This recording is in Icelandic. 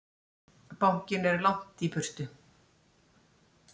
Bankinn er langt í burtu.